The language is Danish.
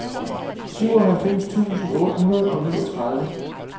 syvoghalvfems tusind otte hundrede og niogtredive